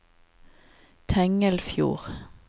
Tengelfjord